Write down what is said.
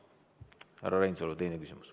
Härra Reinsalu, teine küsimus.